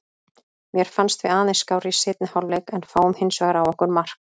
Mér fannst við aðeins skárri í seinni hálfleik en fáum hinsvegar á okkur mark.